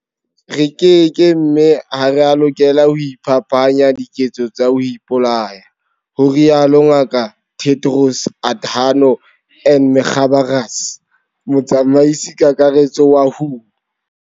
Re keke mme ha re a lokela ho iphapanya diketso tsa ho ipolaya, ho rialo Ngaka Tedros Adhano m Ghebreyesus, Motsamaisi-Kakaretso wa WHO.